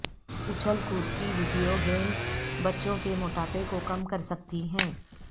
اچھل کود کی ویڈیو گیمز بچوں کے موٹاپے کو کم کرسکتی ہیں